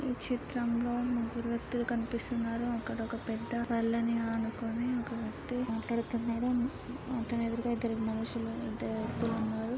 ఈ చిత్రంలో ముగ్గురు వ్యక్తులు కనిపిస్తున్నారు. అక్కడ ఒక పెద్ద బల్లని ఆనుకొని ఒక వ్యక్తి మాట్లాడుతున్నాడు. అతని ఎదురుగ ఇద్దరు మనుషులు ఇద్దరు వ్యక్తులు ఉన్నారు.